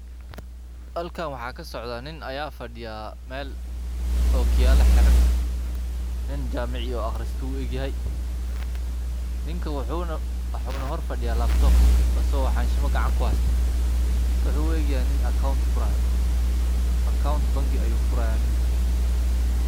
Halkan waxa kasocda nin aya fadiya meel o kiyaala xeran nin jamici o akhristay u egyahay ninka wuxuna horfadiya Labtop aso xanshima gacanta kuhasyto ninka wuxu u egyahay nin account furayo, Account bangi ayu furaaya.